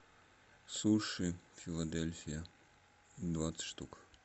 суши филадельфия двадцать штук